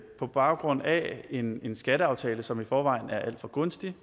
på baggrund af en skatteaftale som i forvejen er alt for gunstig